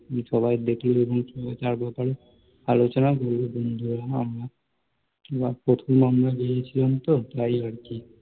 সবাই দেখে চায়ের দোকানে বসে আলোচনা করলাম আমরা বন্ধুরা, প্রথমবার গিয়েছিলাম তো, তাই আরকি